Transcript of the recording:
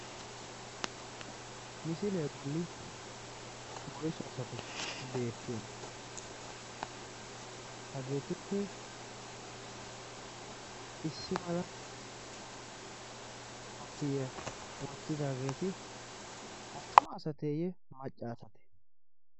misiilee bolli woisu asati beettiyoona? hageetuppe issi mala koppiya wottidaageeti attuma asateeyye maccaasate?